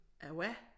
A hvad?